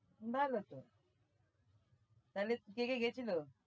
ভালো তো তাহলে কে কে গেছিল?